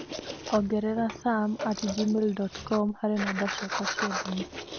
ongerera sam at gmail dot com harĩ namba ciakwa cia thimũ